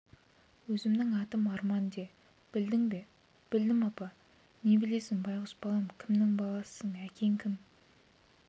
өзімнің атым арман де білдің бе білдім апа не білесің байғұс балам кімнің баласысың әкең кім